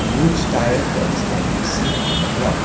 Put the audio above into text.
huge tire trucks can be seen on the ground.